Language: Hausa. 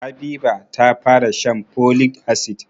Habiba ta fara shan folic asid.